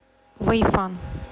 вэйфан